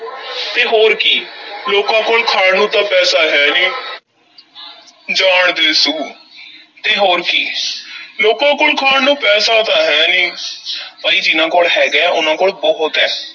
ਤੇ ਹੋਰ ਕੀ ਲੋਕਾਂ ਕੋਲ ਖਾਣ ਨੂੰ ਤਾਂ ਪੈਸਾ ਹੈ ਨਹੀਂ ਜਾਣ ਦੇ ਸੁ ਤੇ ਹੋਰ ਕੀ ਲੋਕਾਂ ਕੋਲ ਖਾਣ ਨੂੰ ਪੈਸਾ ਤਾਂ ਹੈ ਨੀ ਪਈ ਜਿਨ੍ਹਾਂ ਕੋਲ ਹੈਗਾ ਐ, ਉਹਨਾਂ ਕੋਲ ਬਹੁਤ ਐ।